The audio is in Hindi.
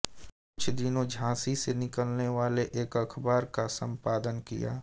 कुछ दिनों झाँसी से निकलने वाले एक अखबार का सम्पादन किया